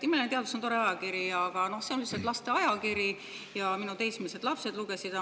Imeline Teadus on tore ajakiri, aga see on lihtsalt lasteajakiri ja minu teismelised lapsed lugesid seda.